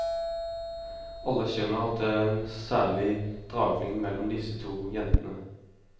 Alle skjønner at det er en særlig dragning mellom disse to jentene.